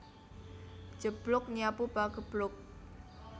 Njeblug nyapu pageblug